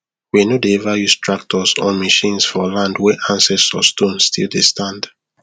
we no dey ever use tractors or machines for land wey ancestor stone still dey stand